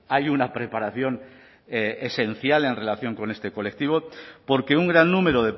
hay una preparación esencial en relación con este colectivo porque un gran número